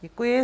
Děkuji.